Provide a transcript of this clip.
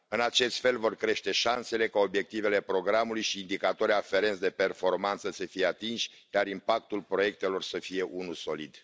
În acest fel vor crește șansele ca obiectivele programului și indicatorii aferenți de performanță să fie atinși, dar impactul proiectelor să fie unul solid.